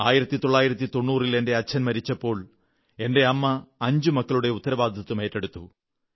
1990 ൽ എന്റെ അച്ഛൻ മരിച്ചപ്പോൾ എന്റെ അമ്മ അഞ്ച് മക്കളുടെയും ഉത്തരവാദിത്വം ഏറ്റെടുത്തു